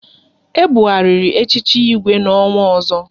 E bughariri echichi Igwe n'ọnwa ọzọ